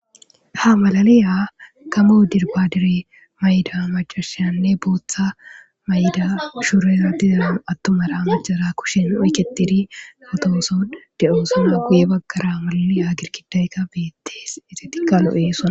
Ha mlaliya gamo dirbbadire maccashiyanne botha mayida surera atumara maccayrakushen oykketidi photoson de'sona.guye bagara malaliya girggidaykka bettes.izdttika lo'osona.